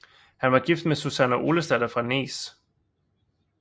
Han var gift med Súsanna Olesdatter fra Nes